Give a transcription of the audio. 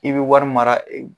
I bi wari mara